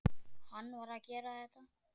Hann varð að gera þetta.